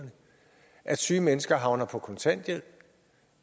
at syge mennesker havner på kontanthjælp